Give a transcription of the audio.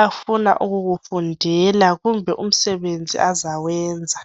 afuna ukukufundela kumbe umsebenzi azawenza